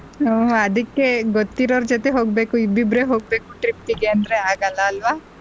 ಹ್ಮ್ ಅದಿಕ್ಕೆ ಗೊತ್ತಿರೋ ಅವ್ರ ಜೊತೆ ಹೋಗ್ಬೇಕು ಇಬ್ಬಿಬ್ಬರೆ ಹೋಗ್ಬೇಕು trip ಗೆ ಅಂದ್ರೆ ಆಗಲ್ಲ ಅಲ್ವಾ.